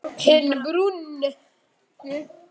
Hinn brúnn.